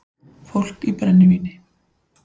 Fólk í brennivíni